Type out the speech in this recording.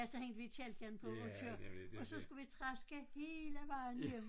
Ja så hængte vi kælken på og køre og så skulle vi traske hele vejen hjem